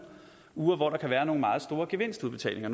uger hvor der kan være nogle meget store gevinstudbetalinger